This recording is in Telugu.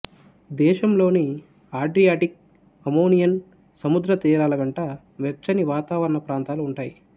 దేశంలోని అడ్రియాటిక్ అయోనియన్ సముద్ర తీరాల వెంట వెచ్చని వాతావరణ ప్రాంతాలు ఉంటాయి